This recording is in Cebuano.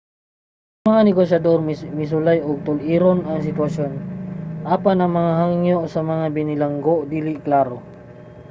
ang mga negosyador misulay nga tul-iron ang sitwasyon apan ang mga hangyo sa mga binilanggo dili klaro